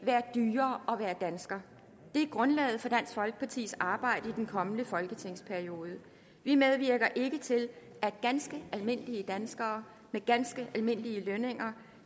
være dyrere at være dansker det er grundlaget for dansk folkepartis arbejde i den kommende folketingsperiode vi medvirker ikke til at ganske almindelige danskere med ganske almindelige lønninger